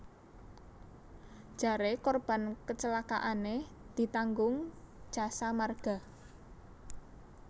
Jare korban kecelakaane ditanggung Jasa Marga